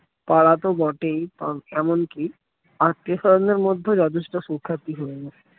পাড়া তো বটেই এমনকি আত্মীয়-স্বজনের মধ্যেও যথেষ্ট সুখ্যাতি হয়ে উঠেছে